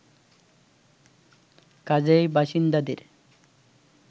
কাজেই বাসিন্দাদের